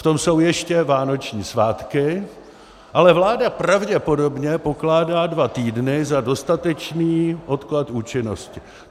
V tom jsou ještě vánoční svátky, ale vláda pravděpodobně pokládá dva týdny za dostatečný odklad účinnosti.